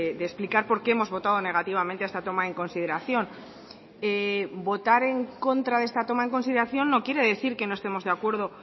de explicar por qué hemos votado negativamente a esta toma en consideración votar en contra de esta toma en consideración no quiere decir que no estemos de acuerdo